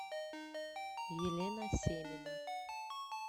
елена семина